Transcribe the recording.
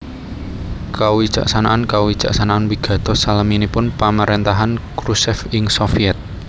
Kawicaksanan kawicaksanan wigatos salaminipun pamaréntahan Khrushchev ing Sovyèt